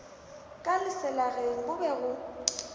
ka leselageng go be go